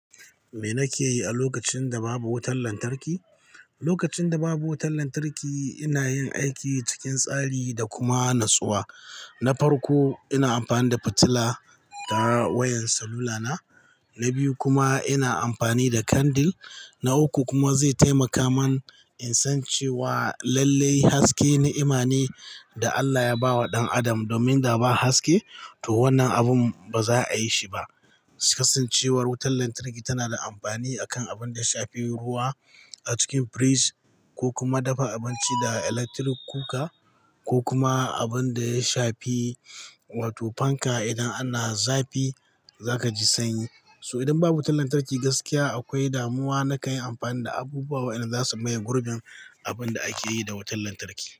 Me nake yi a lokacin da babu wutar lantarki? Lokacin da babu wutar lantarki, ina yin aiki cikin tsari da kuma natsuwa. Na farko, ina amfani da fitila ta wayan salula na. Na biyu kuma ina amfani da kandil. Na uku kuma zai taimaka man in san cewa lalle haske ni'ima ne da Allah ya ba wa ɗan adam domin da ba haske to wannan abun ba za a yi shi ba. Kasancewar wutar lantarki tana da amfani a kan abin da ya shafi ruwa a cikin firij ko kuma dafa abinci da electric cooker ko kuma abun da ya shafi wato fanka idan ana zafi za ka ji sanyi. So idan babu wutar lantarki gaskiya akwai damuwa na kayi amfani da abubuwa waɗanda zasu maye gurbin abin da ake yi da wutar lantarki.